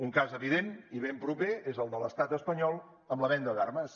un cas evident i ben proper és el de l’estat espanyol amb la venda d’armes